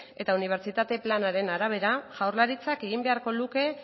eta unibertsitate planaren arabera jaurlaritzak egin beharko luke